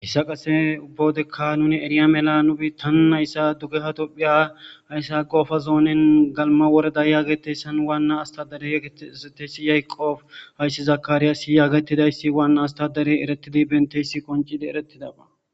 Hissa qase ubbawodekka nune eriya mela nuphi tanu hayssa dugge hatophiya hayssa qoofa zoonen galma woreda yaagetessan waanna astadare egezeteysi yqoof hayssi zakaariyaasi yaagetidayssi waanna astadare eretidi benteysi qoncide erettidaba.